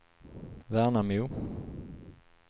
Värnamo